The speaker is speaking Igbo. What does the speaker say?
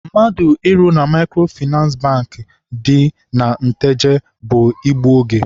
Mmadụ ịrụ na Maịkrofịnansị Bankị. dị na Nteje bụ igbu oge.